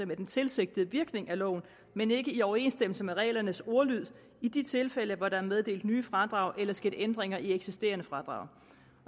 med den tilsigtede virkning af loven men ikke i overensstemmelse med reglernes ordlyd i de tilfælde hvor der er meddelt nye fradrag eller sket ændringer i eksisterende fradrag